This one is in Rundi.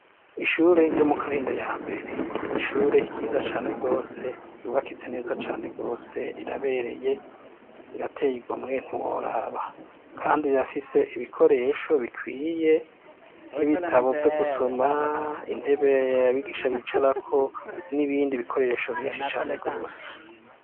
Ishure ryo mu Karindo ya mbere ni ishure ryiza cane rwose ryubakitse neza cane rwose rirabereye rirateye igomwe ntiworaba kandi rirafise ibikoresho bikwiye nk'ibitabo vyo gusoma, intebe yabigisha bicarako n'ibindi bikoresho vyinshi cane rwose.